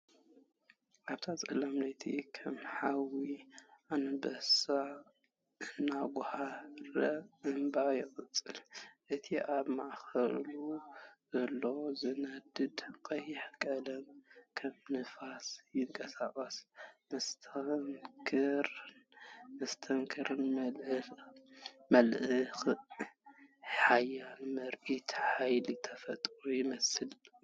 ኣብታ ጸላም ለይቲ፡ ከም ሓዊ ኣንበሳ እናጓህረ እምባ ይቕልቀል። እቲ ኣብ ማእከሉ ዘሎ ዝነድድ ቀይሕ ቀለም ከም ንፋስ ይንቀሳቐስ፤ መስተንክርን መስተንክርን መልክዕ፡ ሓያል ምርኢት ሓይሊ ተፈጥሮ ይመስል።